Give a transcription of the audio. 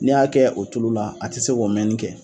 N'i y'a kɛ o tulu la a tɛ se k'o mɛnni kɛ.